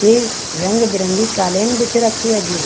की रंग-बिरंगी कालीन बिछ रखी है जी।